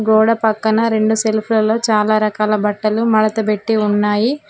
గోడ పక్కన రెండు సెల్ఫ్ లో చాలా రకాల బట్టలు మడత పెట్టి ఉన్నాయి